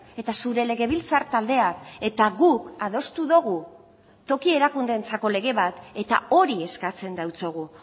eta zure legebiltzar taldeak eta guk adostu dugu toki erakundeentzako lege bat eta hori eskatzen diogu